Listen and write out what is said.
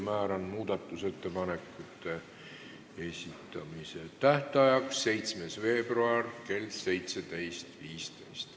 Määran muudatusettepanekute esitamise tähtajaks 7. veebruari kell 17.15.